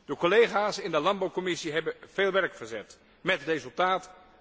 De collega's in de landbouwcommissie hebben veel werk verzet, met resultaat.